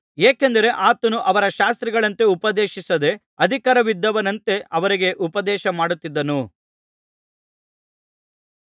ಏಕೆಂದರೆ ಆತನು ಅವರ ಶಾಸ್ತ್ರಿಗಳಂತೆ ಉಪದೇಶಿಸದೆ ಅಧಿಕಾರವಿದ್ದವನಂತೆ ಅವರಿಗೆ ಉಪದೇಶಮಾಡುತ್ತಿದ್ದನು